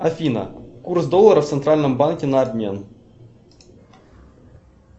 афина курс доллара в центральном банке на обмен